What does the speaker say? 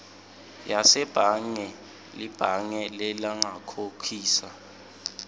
yasebhange libhange lingakukhokhisa